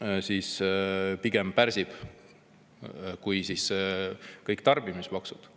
pärsib pigem rohkem kui kõik tarbimismaksud.